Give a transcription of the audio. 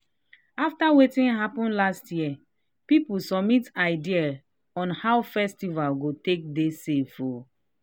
after wetin happen last year people submit ideas on how festival go take dey safe.